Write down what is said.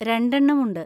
രണ്ടെണ്ണം ഉണ്ട്.